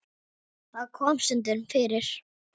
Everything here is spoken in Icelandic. Það kom stundum fyrir.